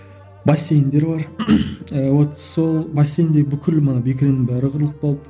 бассейндер бар вот сол бассейндегі бүкіл мана бекіренің бәрі қырылып қалды